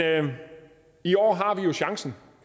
i år har vi jo chancen